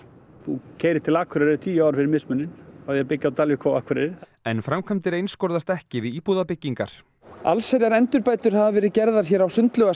þú keyrir til Akureyrar í tíu ár fyrir mismuninn af því að byggja á Dalvík og Akureyri en framkvæmdir einskorðast ekki við íbúðabyggingar hafa verið gerðar á